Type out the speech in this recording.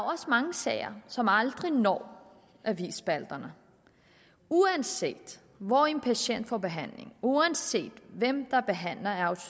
også mange sager som aldrig når avisspalterne uanset hvor en patient får behandling uanset hvem der behandler af